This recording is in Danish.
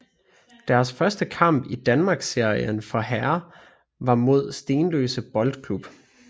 Deres første kamp i Danmarksserien for herrer var mod Stenløse Boldklub